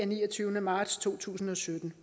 niogtyvende marts to tusind og sytten